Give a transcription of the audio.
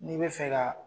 N'i bɛ fɛ ka